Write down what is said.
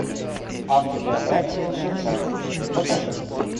автобиография лжеца покажи